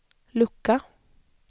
lucka